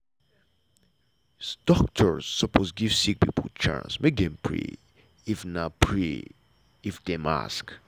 doctor sopose give sick pipo chance make dem pray if pray if dem ask.